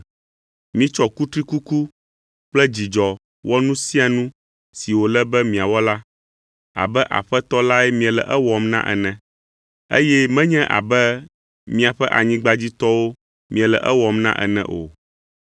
Mitsɔ kutrikuku kple dzidzɔ wɔ nu sia nu si wòle be miawɔ la, abe Aƒetɔ lae miele ewɔm na ene, eye menye abe miaƒe anyigbadziƒetɔwo miele ewɔm na ene o,